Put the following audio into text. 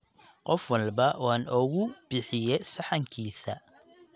Qof walba waan oogu bixiye saxankisa